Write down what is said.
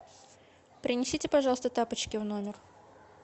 принесите пожалуйста тапочки в номер